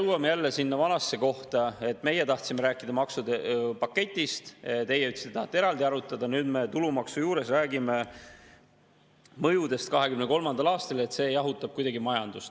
Jõuame jälle sinna vanasse kohta: meie tahtsime rääkida maksude paketist, teie ütlesite, et tahate eraldi arutada, ja nüüd me tulumaksu juures räägime mõjudest 2023. aastal, et see jahutab majandust.